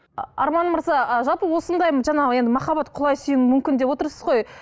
арман мырза ы жалпы осындай жаңағы енді махаббат құлай сүю мүмкін деп отырсыз ғой